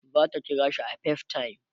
zata kirashi a facetime